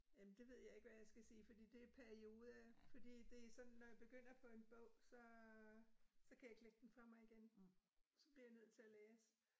Øh det ved jeg ikke, hvad jeg skal sige, fordi det perioder fordi det sådan når jeg begynder på en bog, så så kan jeg ikke lægge den fra mig igen. Så bliver jeg nødt til at læse